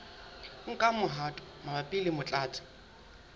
nka mehato mabapi le motlatsi